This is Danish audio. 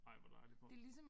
Ej hvor dejligt hvor